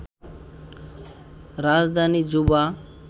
রাজধানী জুবা